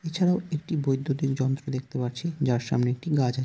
এছাড়াও একটি বৈদ্যুতিক যন্ত্র দেখতে পাচ্ছি। যার সামনে একটি গাছ আছ--